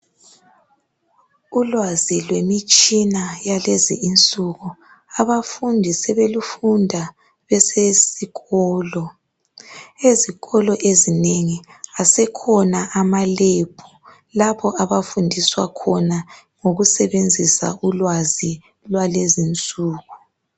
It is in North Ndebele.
Ulwazi lwemitshina yalezi insuku abafundi sebelufunda besesikolo. Ezikolo ezinengi asekhona amalebhu lapho abafundiswa khona ngokusebenzisa ulwazi lwalezinsuku.